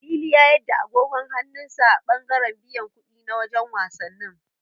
Lili a yarda agogon hannun sa a ɓangaren biyan kuɗi na wajen wasannin.